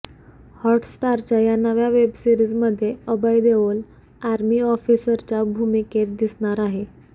हॉटस्टारच्या या नव्या वेबसिरीजमध्ये अभय देओल आर्मी ऑफिसरच्या भूमिकेत दिसणार आहे